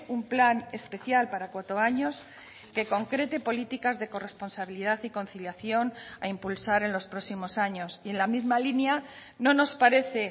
un plan especial para cuatro años que concrete políticas de corresponsabilidad y conciliación a impulsar en los próximos años y en la misma línea no nos parece